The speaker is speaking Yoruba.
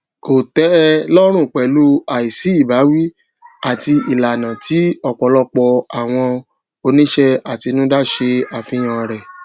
kò tẹ ẹ lọrùn pẹlú àìsí ìbáwí àti ìlànà tí ọpọlọpọ àwọn oníṣẹàtinúdá ṣe àfihàn rẹ